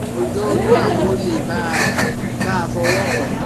kò jọ ọyún àmọ́ ó le bá a bá fọwọ́ kàn án